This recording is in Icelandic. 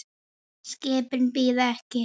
Skipin bíða ekki.